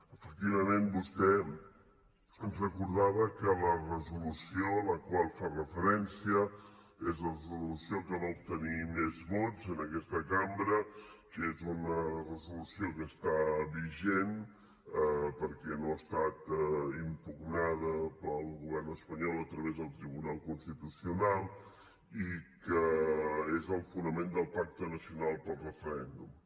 efectivament vostè ens recordava que la resolució a la qual fa referència és la resolució que va obtenir més vots en aquesta cambra que és una resolució que està vigent perquè no ha estat impugnada pel govern espanyol a través del tribunal constitucional i que és el fonament del pacte nacional pel referèndum